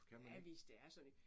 Ja hvis det er sådan